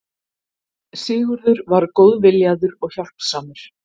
Sigurður var góð- viljaður og hjálpsamur.